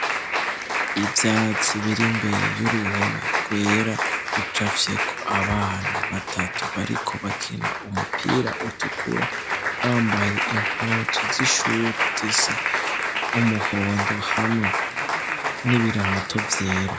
Ivyatsi bir'imbere y'uruhome rwera rucafyeko abana batatu bariko bakina umupira utukura bambaye impunzu z'ishure zisa umuhondo hamwe n'ibirato vyera.